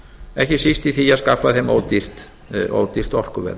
ekki síst í því að skapa þeim ódýrt orkuverð